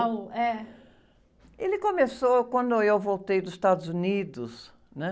O, é.le começou quando eu voltei dos Estados Unidos, né?